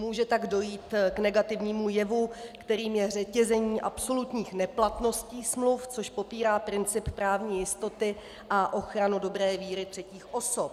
Může tak dojít k negativnímu jevu, kterým je řetězení absolutních neplatností smluv, což popírá princip právní jistoty a ochranu dobré víry třetích osob.